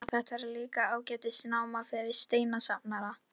Svenni er ekki með sjálfum sér í vinnunni.